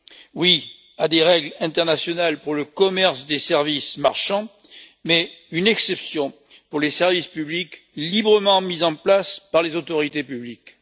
Oui, à des règles internationales pour le commerce des services marchands, mais une exception pour les services publics librement mis en place par les autorités publiques.